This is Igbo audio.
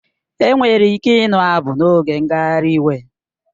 Enwere ike ịnụ abụ n'oge ngagharị iwe